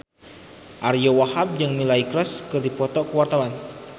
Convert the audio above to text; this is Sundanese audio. Ariyo Wahab jeung Miley Cyrus keur dipoto ku wartawan